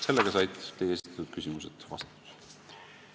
Sellega said teie esitatud küsimused vastatud.